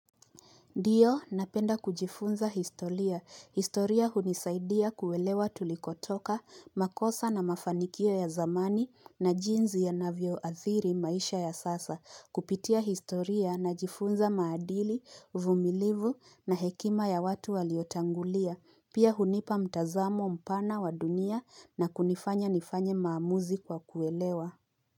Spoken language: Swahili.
Ndiyo napenda kujifunza historia. Historia hunisaidia kuelewa tulikotoka, makosa na mafanikio ya zamani na jinsi yanavyo athiri maisha ya sasa. Kupitia historia najifunza maadili, uvumilivu na hekima ya watu waliotangulia. Pia hunipa mtazamo mpana wa dunia na kunifanya nifanye maamuzi kwa kuelewa.